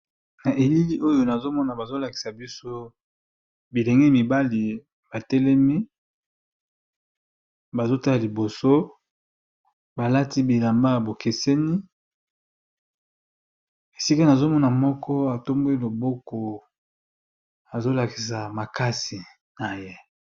Na , Elili oyo ! nazomona bazolakisa biso bilenge , mibali batelemi, bazo tala liboso balati bilamba ya bokeseni esika nazomona moko atomboli loboko azolakisa makasi na ye !